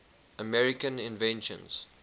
american inventions